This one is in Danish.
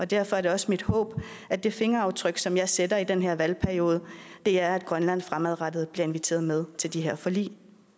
derfor er det også mit håb at det fingeraftryk som jeg sætter i den her valgperiode er at grønland fremadrettet bliver inviteret med til de her forlig